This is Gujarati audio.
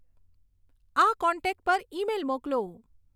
આ કોન્ટેક્ટ પર ઈમેઈલ મોકલો